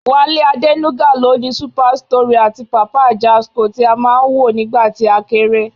Wálé Adénúgà ló ni Super Story àti Papa Ajasco tí á máa ń wò nígbà tí a kéré